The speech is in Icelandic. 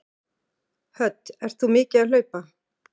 Hödd: Ert þú mikið að hlaupa?